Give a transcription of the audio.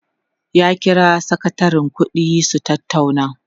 ya kira sakatarin ƙuɗi su tattauna